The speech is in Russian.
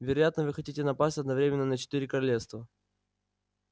вероятно вы хотите напасть одновременно на четыре королевстра